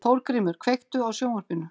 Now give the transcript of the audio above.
Þórgrímur, kveiktu á sjónvarpinu.